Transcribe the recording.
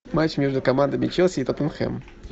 матч между командами челси и тоттенхэм